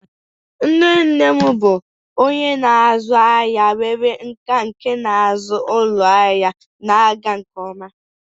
Nne nne m bụ onye na-azụ ahịa nwere nkà nke na-azụ ụlọ ahịa na-aga nke ọma.